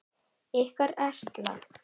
Ykkar Erla.